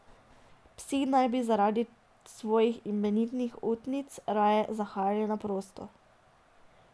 Psi naj bi zaradi svojih imenitnih utic raje zahajali na prosto.